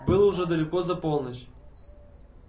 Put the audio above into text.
было уже далеко за полночь